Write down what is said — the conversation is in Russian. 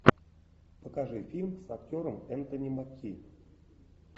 покажи фильм с актером энтони маки